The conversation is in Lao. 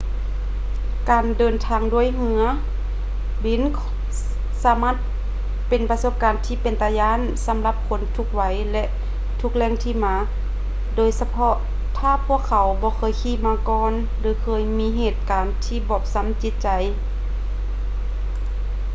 ການເດີນທາງດ້ວຍເຮືອບິນສາມາດເປັນປະສົບການທີ່ເປັນຕາຢ້ານ ສຳລັບຄົນທຸກໄວ ແລະ ທຸກແຫຼ່ງທີ່ມາ ໂດຍສະເພາະຖ້າພວກເຂົາບໍ່ເຄີຍຂີ່ມາກ່ອນ ຫຼື ເຄີຍມີເຫດການທີ່ບອບຊ້ຳຈິດໃຈ